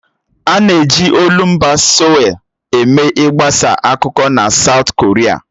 A na-eji olumba Seoul eme ị gbasa akụkọ na Saụt Koria.